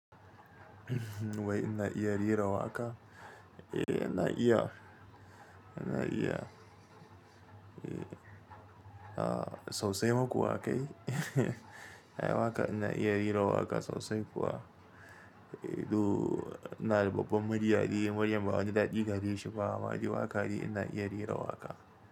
Wai ina iya rera waƙa? Eh ina iya, ina iya. A sosai maku waƙa kai. Ai waƙa ina iya rera waƙa sosai kuwa. Duu na da babbar mirya dai muryan ba wani dadi gareshi ba. Ma dai waƙa de ina iya rera waƙa.